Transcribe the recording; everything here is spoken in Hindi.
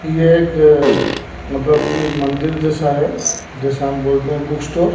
यह एक मतलब कि मंदिर जैसा है जैसा हम बोलते हैं बुक स्टोर ।